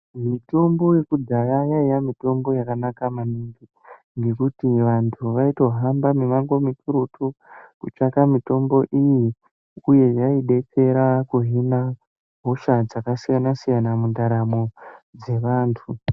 Mitombo yekudhaya yaiya mitombo yakanaka maningi ngekuti vantu vaitohamba mimango mikurutu veitsvaka mitombo iyi uye yaidetsera kuhina hosha dzakasiyana siyana mundaramo dzevantu .